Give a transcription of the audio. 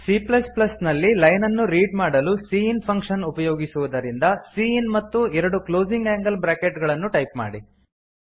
c ನಲ್ಲಿ line ಅನ್ನು read ಮಾಡಲು ಸಿಇನ್ ಫಂಕ್ಷನ್ ಉಪಯೋಗಿಸುವುದರಿಂದ ಸಿಇನ್ ಮತ್ತು ಎರಡು ಕ್ಲೋಸಿಂಗ್ ಆಂಗಲ್ ಬ್ರಾಕೆಟ್ ಗಳನ್ನು ಟೈಪ್ ಮಾಡಿ